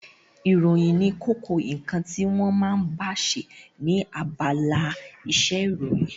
Ìròyìn ní kókó ǹkan tí wọ́n ma ń báse ní abala isẹ́ ìròyìn